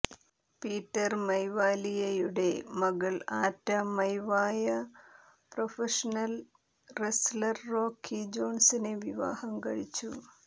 Peter മൈവാലിയയുടെ മകൾ Ata Maivia professional wrestler Rocky ജോൺസനെ വിവാഹം കഴിച്ചു